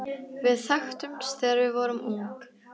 Við þekktumst þegar við vorum ung.